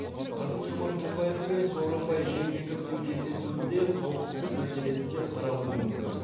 касым жомарт тоқаев пен сооронбай жээнбековтің кездесуінде қауіпсіздік мәселесі де қаралуы мүмкін